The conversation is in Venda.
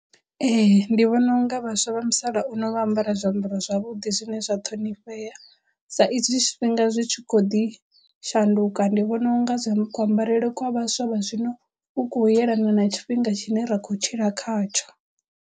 Ee ndi vhona unga vhaswa vha musalauno vha ambara zwiambaro zwavhuḓi zwine zwa ṱhonifhea sa izwi tshifhinga zwi tshi khou ḓi shanduka ndi vhona unga zwi kuambarele kwa vhaswa vha zwino ku khou yelana na tshifhinga tshine ra khou tshila khatsho.